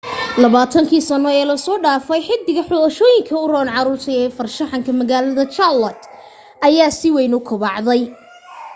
20kii sano ee la soo dhaafay xaddiga xulashooyinka u roon caruurta ee farshaxan magaalaha charlotte ayaa si weyn u kobacday